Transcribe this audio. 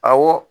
Awɔ